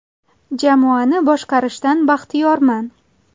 Jamoani boshqarishdan baxtiyorman.